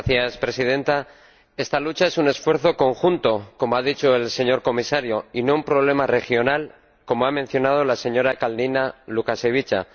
Señora Presidenta, esta lucha es un esfuerzo conjunto, como ha dicho el señor Comisario, y no un problema regional como ha mencionado la señora Kalniņa Lukaševica.